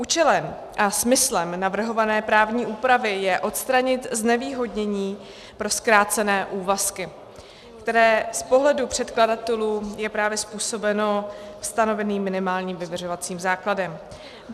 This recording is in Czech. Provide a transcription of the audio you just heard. Účelem a smyslem navrhované právní úpravy je odstranit znevýhodnění pro zkrácené úvazky, které z pohledu předkladatelů je právě způsobeno stanoveným minimálním vyměřovacím základem.